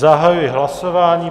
Zahajuji hlasování.